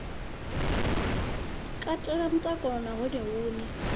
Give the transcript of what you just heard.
katela mutakalo na hone hune